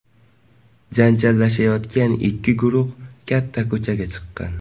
Janjallashayotgan ikki guruh katta ko‘chaga chiqqan.